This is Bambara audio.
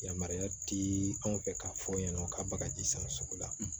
Yamaruya ti anw fɛ k'a fɔ ɲɛna ka bagaji san sugu la